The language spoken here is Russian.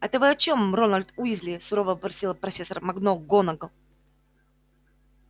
это вы о чем рональд уизли сурово вопросила профессор макгонагалл